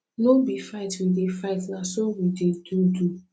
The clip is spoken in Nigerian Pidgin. no be fight we dey fight na so we dey do do